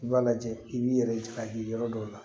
I b'a lajɛ i b'i yɛrɛ ja ye yɔrɔ dɔw la